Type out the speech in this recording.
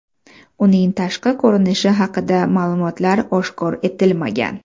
Uning tashqi ko‘rinishi haqida ma’lumotlar oshkor etilmagan.